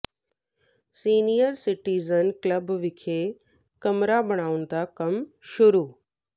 senior citizen club ਵਿਖੇ ਕਮਰਾ ਬਣਾਉਣ ਦਾ ਕੰਮ ਸ਼ੁਰੂ